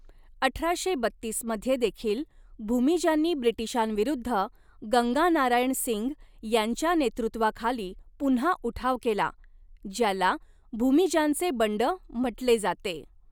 अठराशे बत्तीस मध्ये देखील भूमिजांनी ब्रिटिशांविरुद्ध गंगानारायण सिंग यांच्या नेतृत्वाखाली पुन्हा उठाव केला, ज्याला भूमिजांचे बंड म्हटले जाते.